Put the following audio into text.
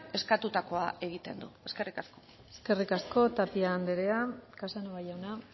eskatutako egiten du eskerrik asko eskerrik asko tapia andrea casanova jauna